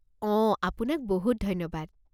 অ', আপোনাক বহুত ধন্যবাদ।